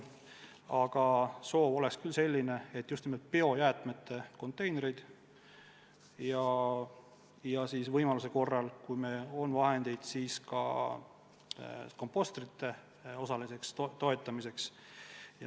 Aga soov on selline, et me toetame just nimelt biojäätmete konteinerite soetamist ja võimaluse korral, kui meil on raha, siis osaliselt ka kompostrite soetamist.